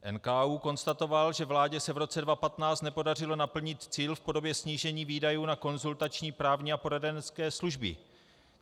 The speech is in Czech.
NKÚ konstatoval, že vládě se v roce 2015 nepodařilo naplnit cíl v podobě snížení výdajů na konzultační, právní a poradenské služby.